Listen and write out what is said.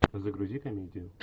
загрузи комедию